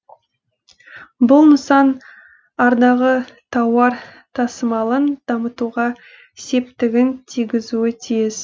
бұл нысан ардағы тауар тасымалын дамытуға септігін тигізуі тиіс